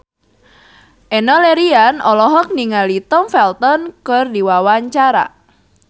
Enno Lerian olohok ningali Tom Felton keur diwawancara